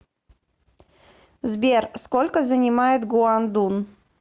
сбер сколько занимает гуандун